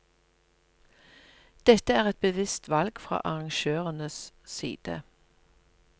Dette er et bevisst valg fra arrangørenes side.